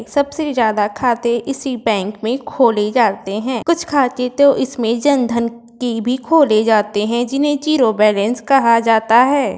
सबसे ज़्यादा खाते इसी बैंक में खोले जाते हैं। कुछ खाते तो इसमें जन धन की भी खोले जाते हैं जिन्हे ज़ीरो बैलेंस कहा जाता है।